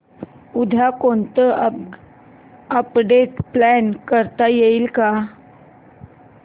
उद्या कोणतं update plan करता येईल